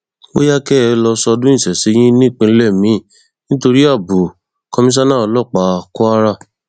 bóyá kẹ ẹ lọọ ṣọdún ìṣẹṣẹ yín nípínlẹ miín nítorí ààbọ komisanna ọlọpàá kwara